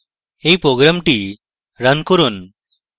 এই program run করুন